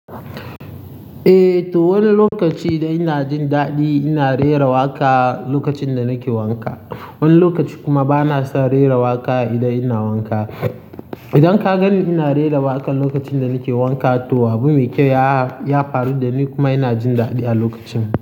Eh to wani lokaci ina jin daɗi ina rera waƙa lokacin da nake wanka. Wani lokaci kuma bana son rera waƙa idan ina wanka. Idan ka gani ina rera waƙa lokacin da nake wanka to abu mai kyau ya faru da ni kuma ina jin daɗi a lokacin.